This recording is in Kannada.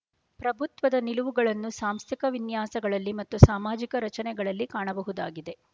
ಪ್ರಭುತ್ವದ ನಿಲುವುಗಳನ್ನು ಸಾಂಸ್ಥಿಕ ವಿನ್ಯಾಸಗಳಲ್ಲಿ ಮತ್ತು ಸಾಮಾಜಿಕ ರಚನೆಗಳಲ್ಲಿ ಕಾಣಬಹುದಾಗಿದೆ